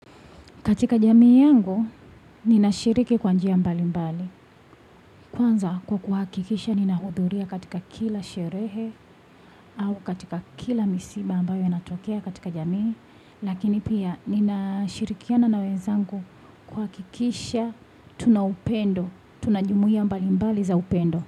Katika jamii yangu, ninashiriki kwa njia mbalimbali. Kwanza kwa kuhakikisha ninahudhuria katika kila sherehe au katika kila misiba ambayo inatokea katika jamii. Lakini pia ninashirikiana na wenzangu kuhakikisha tuna upendo. Tuna jumuia mbalimbali za upendo.